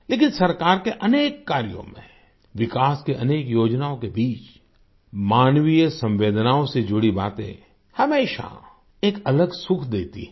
लेकिन सरकार के अनेक कार्यों में विकास के अनेक योजनाओं के बीच मानवीय संवेदनाओं से जुड़ी बातें हमेशा एक अलग सुख देती है